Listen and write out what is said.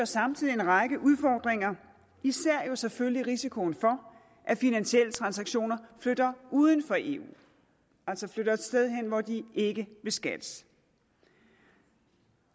samtidig en række udfordringer især jo selvfølgelig risikoen for at finansielle transaktioner flytter uden for eu altså flytter et sted hen hvor de ikke beskattes